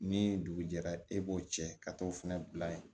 Ni dugu jɛra e b'o cɛ ka t'o fɛnɛ bila yen